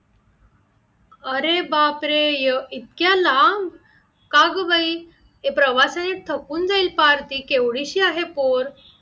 अरे बाप रे! इतक्या लांब, का गं बाई? ते प्रवासाने थकून जाईल फार ते केवढीशी आहे पोर